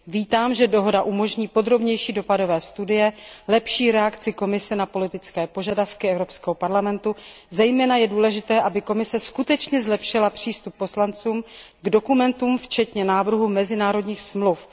Vítám, že dohoda umožní podrobnější dopadové studie, lepší reakci Komise na politické požadavky Evropského parlamentu, zejména je důležité, aby Komise skutečně zlepšila přístup poslanců k dokumentům, včetně návrhů mezinárodních dohod.